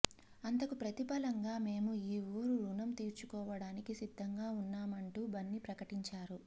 అంతకు ప్రతి ఫలంగా మేము ఈ ఊరు ఋణం తీర్చుకోవడానికి సిద్దంగా ఉన్నామంటూ బన్ని ప్రకటించారు